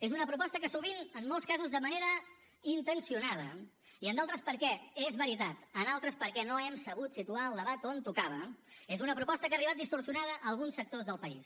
és una proposta que sovint en molts casos de manera intencionada i en d’altres perquè és veritat no hem sabut situar el debat on tocava és una proposta que ha arribat distorsionada a alguns sectors del país